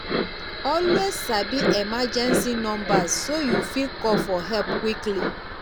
always sabi emergency numbers so yu fit call for help quickly